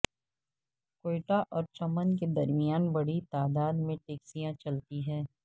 کوئٹہ اور چمن کے درمیان بڑی تعداد میں ٹیکسیاں چلتی ہیں